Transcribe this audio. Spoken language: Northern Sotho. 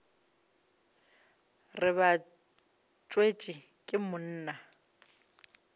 re ba tswetšwe ke monna